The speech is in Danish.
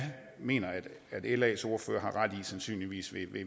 mener las ordfører har ret i sandsynligvis